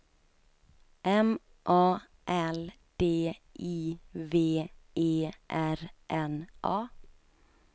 M A L D I V E R N A